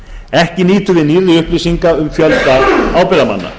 ekki nýtur við nýrri upplýsinga um fjölda ábyrgðarmanna